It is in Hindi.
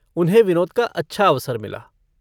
उन्हें विनोद का अच्छा अवसर मिला।